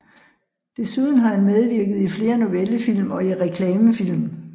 Desuden har han medvirket i flere novellefilm og i reklamefilm